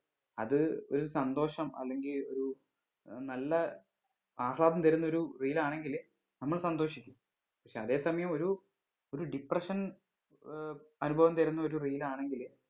അത് ഒരു സന്തോഷം അല്ലെങ്കിൽ ഒരു നല്ല ആഹ്ളാദം തരുന്ന ഒരു reel ആണെങ്കില് നമ്മൾ സന്തോഷിക്കും പക്ഷെ അതെ സമയം ഒരു ഒരു depression ഏർ അനുഭവം തരുന്ന ഒരു reel ആണെങ്കില്